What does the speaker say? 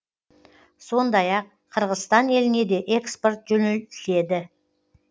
сондай ақ қырғызстан еліне де экспорт жөнелтіледі